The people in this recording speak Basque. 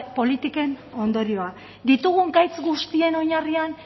politiken ondorioa ditugun gaitz guztien oinarrian